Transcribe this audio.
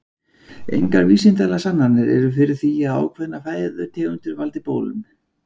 Engar vísindalegar sannanir eru fyrir því að ákveðnar fæðutegundir valdi bólum.